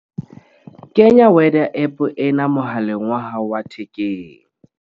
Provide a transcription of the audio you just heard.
Kenya weather app ena mohaleng wa hao wa thekeng